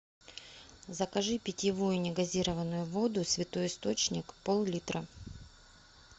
закажи питьевую негазированную воду святой источник пол литра